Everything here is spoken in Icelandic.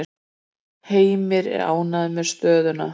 Heimir er ánægður með stöðuna.